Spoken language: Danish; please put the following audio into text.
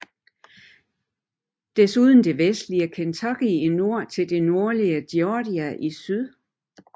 Desuden det vestlige Kentucky i nord til det nordlige Georgia i syd